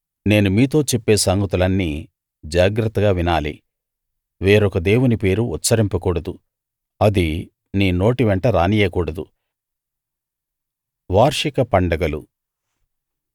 నేను మీతో చెప్పే సంగతులన్నీ జాగ్రత్తగా వినాలి వేరొక దేవుని పేరు ఉచ్చరింపకూడదు అది నీ నోటి వెంట రానియ్యకూడదు